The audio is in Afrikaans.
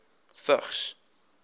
vigs